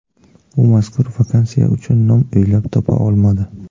U mazkur vakansiya uchun nom o‘ylab topa olmadi.